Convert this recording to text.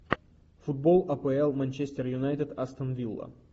футбол апл манчестер юнайтед астон вилла